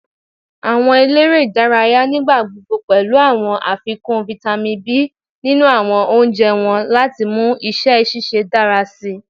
Awọn elere idaraya nigbagbogbo pẹlu awọn afikun Vitamin B ninu awọn ounjẹ wọn lati mu iṣẹ ṣiṣe dara sii